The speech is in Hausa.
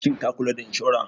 Shin ka kula da inshora?